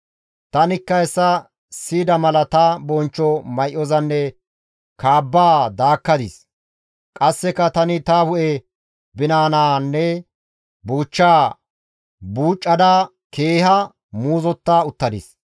Tanikka hessa siyida mala ta bonchcho may7ozanne kaabbaa daakkadis; qasseka tani ta hu7e binanaanne buuchchaa buucada keeha muuzota uttadis.